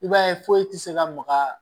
I b'a ye foyi tɛ se ka maga